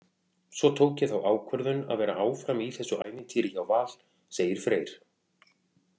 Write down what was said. Svo tók ég þá ákvörðun að vera áfram í þessu ævintýri hjá Val, segir Freyr.